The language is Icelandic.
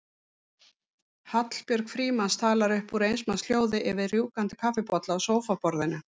Hallbjörg Frímanns talar upp úr eins manns hljóði yfir rjúkandi kaffibolla á sófaborðinu.